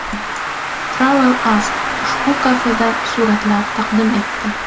Travel Ask ushbu kafedan suratlar taqdim etdi.